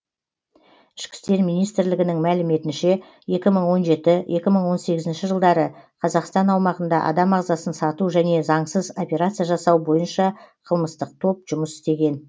ішкі істер министрлігінің мәліметінше екі мың он жеті екі мың он сегізінші жылдары қазақстан аумағында адам ағзасын сату және заңсыз операция жасау бойынша қылмыстық топ жұмыс істеген